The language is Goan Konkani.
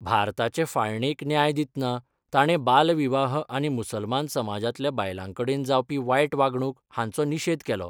भारताचे फाळणेक न्याय दितना ताणें बालविवाह आनी मुसलमान समाजांतल्या बायलांकडेन जावपी वायट वागणूक हांचो निशेध केलो.